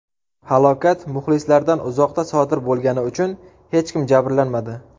Halokat muxlislardan uzoqda sodir bo‘lgani uchun hech kim jabrlanmadi.